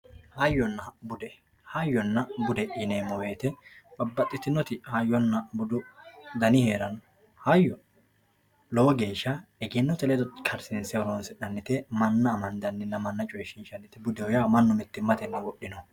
hayyonna bude hayyonna bude yneemmo woyte babbaxxitinoti hayyonna budu dani heeranno hayyo lowo geeshsha egennote ledo karsiinse horoonsi'nannite manna amandanninna manna coyshiinshannite budeho yaa mannu mittimmatenni wodhinoho.